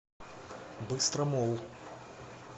быстромолл